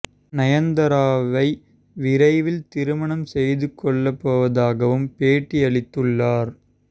நயன்தாராவை விரைவில் திருமணம் செய்து கொள்ளப் போவதாகவும் பேட்டி அளித்துள்ளார்